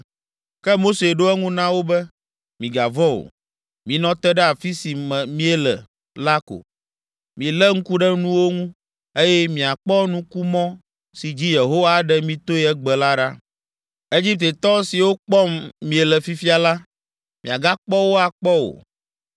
Ke Mose ɖo eŋu na wo be, “Migavɔ̃ o, minɔ te ɖe afi si miele la ko, milé ŋku ɖe nuwo ŋu, eye miakpɔ nukumɔ si dzi Yehowa aɖe mi toe egbe la ɖa. Egiptetɔ siwo kpɔm miele fifia la, miagakpɔ wo akpɔ o.